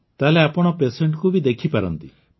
ତାହେଲେ ଆପଣ ୟ ପେସେଣ୍ଟ ବି ଦେଖିପାରନ୍ତି